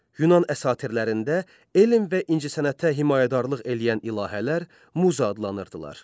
Yunan əsatirlərində elm və incəsənətə himayədarlıq eləyən ilahələr Muza adlanırdılar.